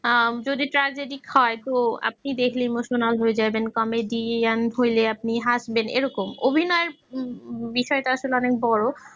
যদি হয় আপনি দেখলে emotional হয়ে যাবেন comedian হলে আপনি হাসবেন এরকম অভিনয় বিষয়টা আসলে অনেক বড়